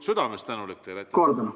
Südamest tänulik teile!